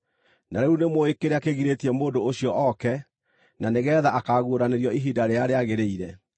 Na rĩu nĩmũũĩ kĩrĩa kĩgirĩtie mũndũ ũcio ooke na nĩgeetha akaaguũranĩrio ihinda rĩrĩa rĩagĩrĩire.